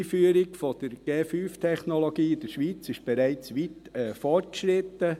Die Einführung der 5G-Technologie in der Schweiz ist bereits weit fortgeschritten.